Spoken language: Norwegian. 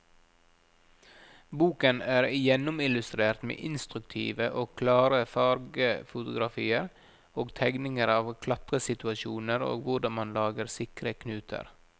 Boken er gjennomillustrert med instruktive og klare fargefotografier og tegninger av klatresituasjoner og hvordan man lager sikre knuter.